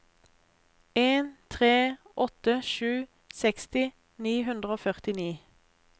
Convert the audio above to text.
en tre åtte sju seksti ni hundre og førtini